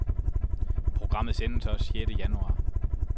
Programmet sendes også sjette januar.